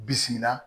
Bisimila